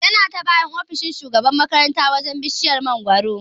Yana ta bayan ofishin shugaban makaranta wajan bishiyar mangoro